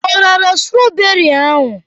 O rara strawberị ahụ?